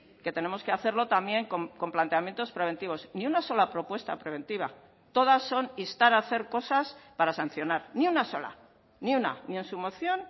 que tenemos que hacerlo también con planteamientos preventivos ni una sola propuesta preventiva todas son instar a hacer cosas para sancionar ni una sola ni una ni en su moción